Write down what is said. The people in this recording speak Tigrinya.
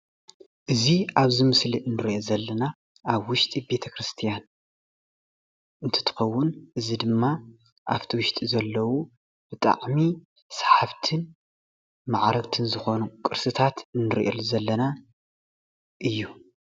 እዚ ኣብ እዚ ምስሊ እንሪኦ ዘለና ኣብ ውሽጢ ቤተክርስትያን እትትከውን እዚ ድማ ኣብቲ ውሽጢ ዘለዉ ብጣዕሚ ሳሓብትን ማዓረግትን ዝኮኑ ቅርስታ እንሪአሉ ዘለና እዩ፡፡